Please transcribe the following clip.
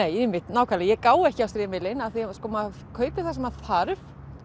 nákvæmlega ég gái ekki á strimilinn af því að maður kaupir það sem maður þarf